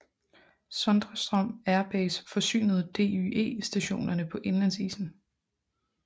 Sondrestrom Air Base forsynede DYE stationerne på indlandsisen